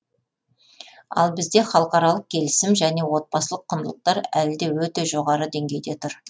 ал бізде халықаралық келісім және отбасылық құндылықтар әлі де өте жоғары деңгейде тұр